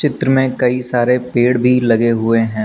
चित्र में कई सारे पेड़ भी लगे हुए हैं।